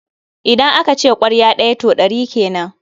Idan aka ce ƙwarya ɗaya, to ɗari kenan.